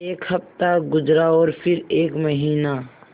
एक हफ़्ता गुज़रा और फिर एक महीना